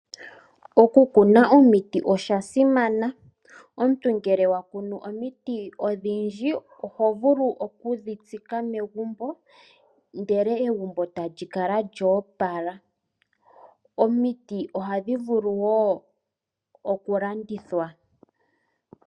Oku kuna omiti okwa simana. Omuntu ngele wa kunu omiti odhindji oho vulu oku dhi tsika megumbo. Ndele egumbo eta li kala lyoopala. Omiti oha dhi vulu woo oku landithwa.